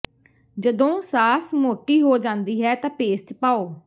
ਜਦੋਂ ਸਾਸ ਮੋਟੀ ਹੋ ਜਾਂਦੀ ਹੈ ਤਾਂ ਪੇਸਟ ਪਾਓ